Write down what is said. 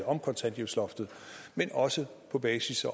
om kontanthjælpsloftet men også på basis af